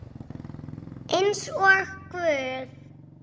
Eins og guð?